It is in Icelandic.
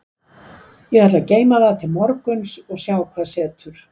Ég ætla að geyma það til morguns og sjá hvað setur.